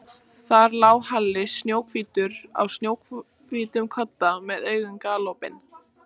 Honum finnst hann vera að skýra frá uppgötvun.